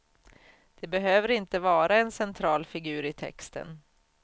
Det behöver inte vara en central figur i texten.